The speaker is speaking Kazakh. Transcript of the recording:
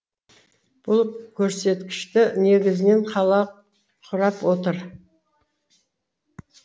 бұл көрсеткішті негізінен қала құрап отыр